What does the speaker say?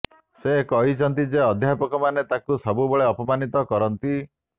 ସେ କହିହିଛନ୍ତି ଯେ ଅଧ୍ୟାପକମାନେ ତାଙ୍କୁ ସବୁବେଳେ ଅପମାନିତ କରନ୍ତି